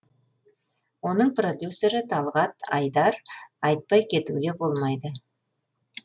оның продюссері талғат айдар айтпай кетуге болмайды